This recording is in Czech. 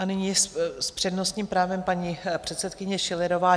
A nyní s přednostním právem paní předsedkyně Schillerová.